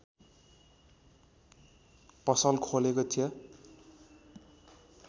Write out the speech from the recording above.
पसल खोलेको थियो